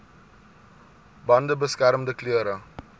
bande beskermende klere